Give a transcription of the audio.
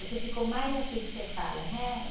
É que ficou mais assim que você fala, né?